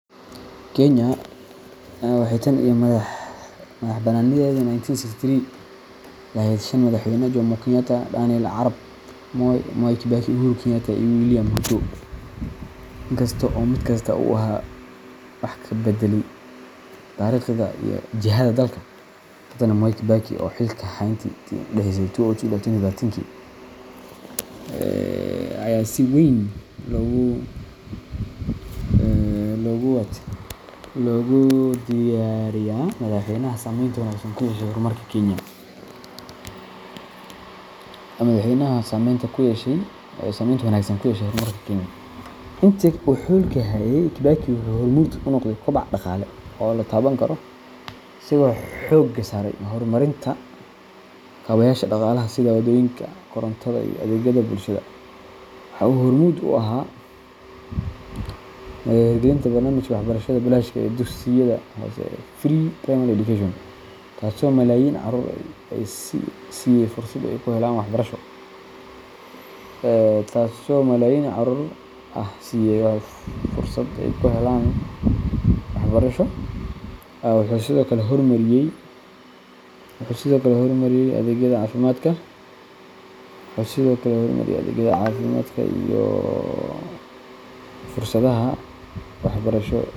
Kenya waxay tan iyo madaxbannaanideedii 1963 laheyd shan Madaxweyne: Jomo Kenyatta, Daniel Arap Moi, Mwai Kibaki, Uhuru Kenyatta, iyo William Ruto. Inkasta oo mid kasta uu wax ka beddelay taariikhda iyo jihada dalka, haddana Mwai Kibaki, oo xilka hayay intii u dhaxaysay 2002 ilaa 2013ki, ayaa si weyn loogu tiriyaa Madaxweynaha saameynta wanaagsan ku yeeshay horumarka Kenya. Intii uu xilka hayay, Kibaki wuxuu hormuud u noqday koboc dhaqaale oo la taaban karo, isagoo xoogga saaray horumarinta kaabeyaasha dhaqaalaha sida waddooyinka, korontada, iyo adeegyada bulshada. Waxa uu hormuud u ahaa hirgelinta barnaamijka waxbarashada bilaashka ah ee dugsiyada hoose Free Primary Education, taasoo malaayiin carruur ah siisay fursad ay ku helaan waxbarasho. Wuxuu sidoo kale horumariyay adeegyada caafimaadka iyo fursadaha waxbarasho.